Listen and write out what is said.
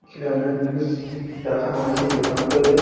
খেলনের জিনিস রাখানো আছে দোকানটোরে ।